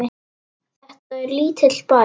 Þetta er lítill bær.